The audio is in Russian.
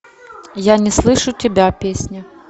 я не слышу тебя песня